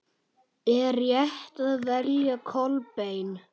Er rétt að velja Kolbein?